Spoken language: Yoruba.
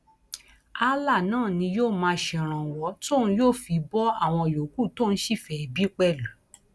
allah náà ni yóò máa ṣèrànwọ tóun yóò fi bo àwọn yòókù tóun sì fẹẹ bí pẹlú